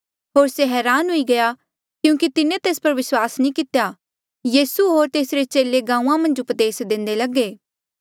होर से हरान हुई गया क्यूंकि तिन्हें तेस पर विस्वास नी कितेया यीसू होर तेसरे चेले गांऊँआं मन्झ उपदेस देंदे लगे